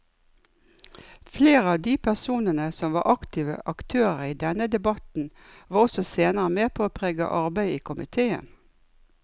Flere av de personene som var aktive aktører i denne debatten var også senere med på å prege arbeidet i komiteen.